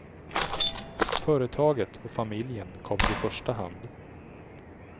Företaget och familjen kommer i första hand.